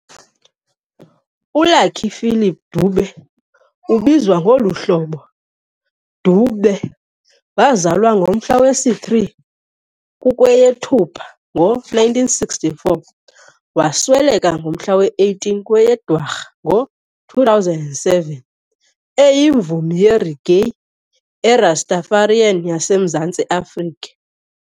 ULucky Philip Dube, ubizwa ngolu hlobo"doo-beh", wazalwa ngomhla wesi-3 kukweyeThupha ngo1964 - wasweleka ngomhla we-18 kweyeDwarha ngo2007, eyimvumi yereggae neRastafarian yaseMzantsi Afrika.